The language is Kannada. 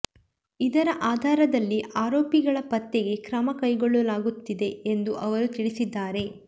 ಇದರ ಆಧಾರದಲ್ಲಿ ಆರೋಪಿಗಳ ಪತ್ತೆಗೆ ಕ್ರಮ ಕೈಗೊಳ್ಳಲಾಗುತ್ತಿದೆ ಎಂದು ಅವರು ತಿಳಿಸಿದ್ಧಾರೆ